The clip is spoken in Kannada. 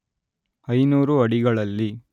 ಐನೂರು ಅಡಿಗಳಲ್ಲಿ